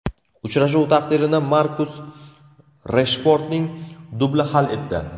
Uchrashuv taqdirini Markus Reshfordning dubli hal etdi.